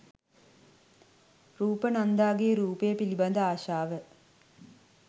රූප නන්දාගේ රූපය පිළිබඳ ආශාව